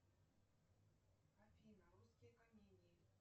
афина русские комедии